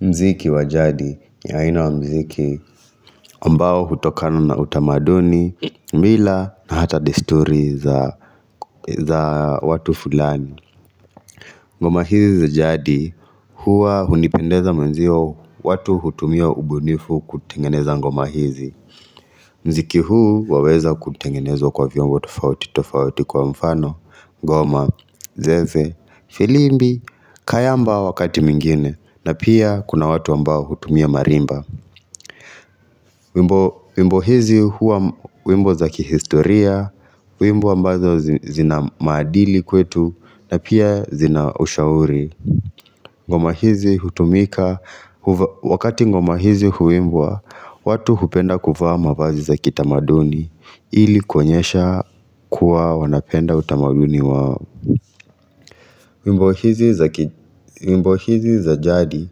Muziki wa jadi, ya aina wa muziki, ambao hutokana na utamaduni, mila na hata desturi za watu fulani. Ngoma hizi za jadi, huwa hunipendeza mwenzio watu hutumia ubunifu kutengeneza ngoma hizi. Muziki huu waweza kutengenezwa kwa viungo tofauti, tofauti kwa mfano, ngoma, zeze, filimbi, kayamba wakati mingine, na pia kuna watu ambao hutumia marimba wimbo hizi huwa wimbo za kihistoria, wimbo ambazo zina maadili kwetu na pia zina ushauri ngoma hizi hutumika Wakati ngoma hizi huimbwa watu hupenda kuvaa mavazi za kitamaduni ili kuonyesha kuwa wanapenda utamaduni wao. Wimbo hizi zaki wimbo hizi za jadi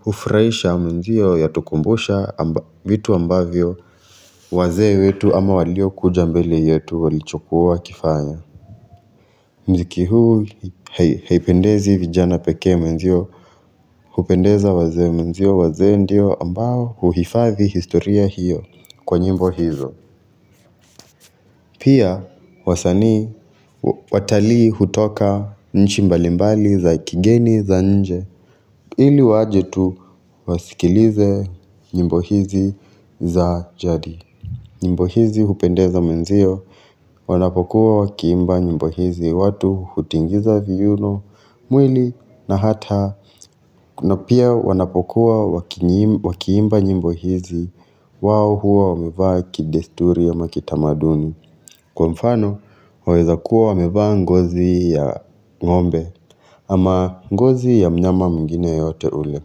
hufurahisha, mwenzio yatukumbusha vitu ambavyo wazee wetu ama waliokuja mbele yetu walichokuwa wakifanya. Muziki huu haipendezi vijana pekee mwenzio hupendeza wazee mwenzio wazee ndio ambao huhifadhi historia hiyo kwa nyimbo hizo. Pia wasanii watalii hutoka nchi mbalimbali za kigeni za nje ili waje tu wasikilize nyimbo hizi za jadi. Nyimbo hizi hupendeza mwenzio wanapokuwa wakiimba nyimbo hizi, watu hutingiza viuno, mwili na hata na pia wanapokuwa wakiimba nyimbo hizi wao huwa wamevaa kidesturi ama kitamaduni. Kwa mfano, waweza kuwa wamevaa ngozi ya ng'ombe ama ngozi ya mnyama mwingine yeyote ule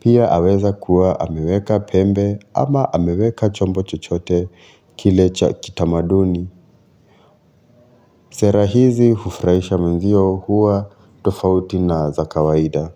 Pia aweza kuwa ameweka pembe ama ameweka chombo chochote kile cha kitamaduni. Sera hizi hufurahisha mwenzio huwa tofauti na za kawaida.